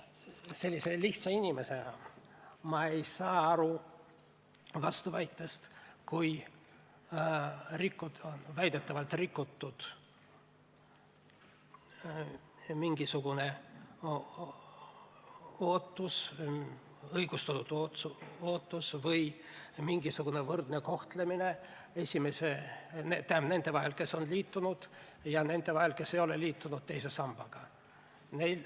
Sellise lihtsa inimesena ma ei saa aru vastuväidetest, et on nagu rikutud mingisugust õigustatud ootust või ei kohelda võrdselt neid, kes on liitunud, ja neid, kes ei ole liitunud teise sambaga.